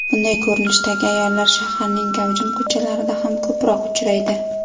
Bunday ko‘rinishdagi ayollar shaharning gavjum ko‘chalarida ham ko‘proq uchraydi.